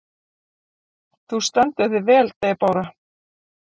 Þú stendur þig vel, Debóra!